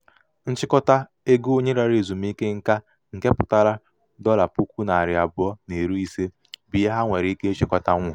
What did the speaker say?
nchịkọta ego onye larala ezumike nka nke pụtara dọla puku narị abụọ na iri ise bụ ihe ha nwere ike ịchịkọtanwu.